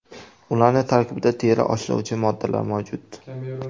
Ularning tarkibida teri oshlovchi moddalar mavjud.